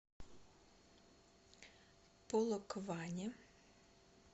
полокване